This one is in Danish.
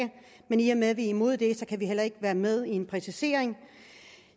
men i og med at vi er imod det kan vi heller ikke være med i en præcisering